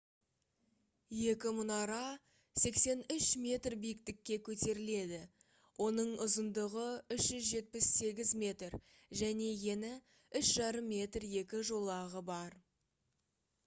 екі мұнара 83 метр биіктікке көтеріледі оның ұзындығы 378 метр және ені 3,50 м екі жолағы бар